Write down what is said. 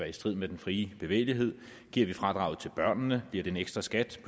i strid med den frie bevægelighed giver vi fradraget til børnene bliver det en ekstra skat til